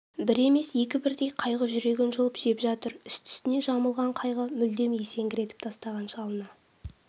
бір емес екі бірдей қайғы жүрегін жұлып жеп жатыр үсті-үстіне жамалған қайғы мүлдем есеңгіретіп тастаған шалына